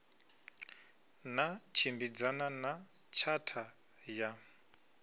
na tshimbidzana na tshatha ya